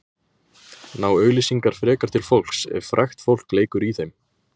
ná auglýsingar frekar til fólks ef frægt fólk leikur í þeim